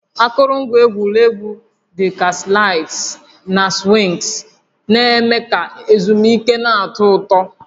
Akụrụngwa egwuregwu dị ka slides na swings na-eme ka ezumike na-atọ ụtọ